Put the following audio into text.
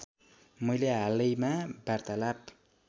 मैले हालैमा वार्तालाप